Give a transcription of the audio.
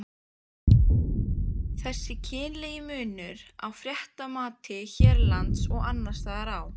Þessi kynlegi munur á fréttamati hérlendis og annarstaðar á